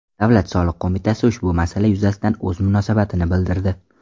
Davlat soliq qo‘mitasi ushbu masala yuzasidan o‘z munosabatini bildirdi .